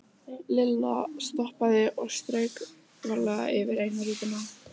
Lilla stoppaði og strauk varlega yfir eina rjúpuna.